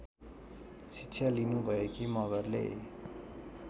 शिक्षा लिनुभएकी मगरले